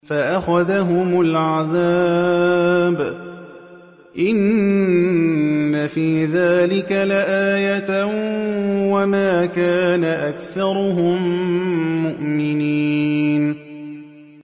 فَأَخَذَهُمُ الْعَذَابُ ۗ إِنَّ فِي ذَٰلِكَ لَآيَةً ۖ وَمَا كَانَ أَكْثَرُهُم مُّؤْمِنِينَ